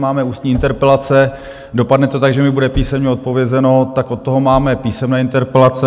Máme ústní interpelace, dopadne to tak, že mi bude písemně odpovězeno, tak od toho máme písemné interpelace.